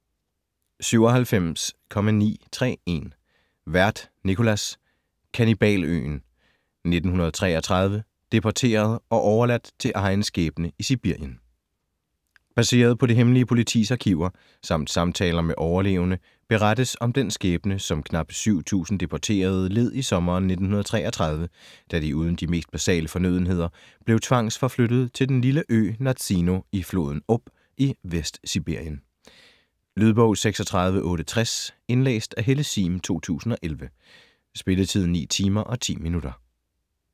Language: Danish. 97.931 Werth, Nicolas: Kannibaløen: 1933 - deporteret og overladt til egen skæbne i Sibirien Baseret på det hemmelige politis arkiver samt samtaler med overlevende berettes om den skæbne, som knapt 7000 deporterede led i sommeren 1933 da de uden de mest basale fornødenheder blev tvangsforflyttet til den lille ø Nazino i floden Ob i Vestsibirien. Lydbog 36860 Indlæst af Helle Sihm, 2011. Spilletid: 9 timer, 10 minutter.